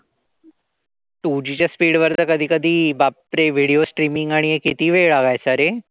Two G च्या speed वरती तर कधी कधी बापरे! विडीओ streamming आणि हे किती वेळ लागायचा रे?